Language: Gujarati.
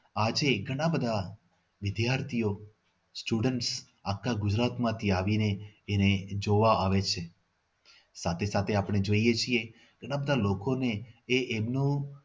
આજે ઘણા બધા વિદ્યાર્થીઓ, students આખા ગુજરાતમાંથી આવીને એને જોવા આવે છે સાથે સાથે આપણે જોઈએ છીએ કે ઘણા બધા લોકોને એ એમનો